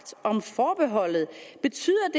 om forbeholdet betyder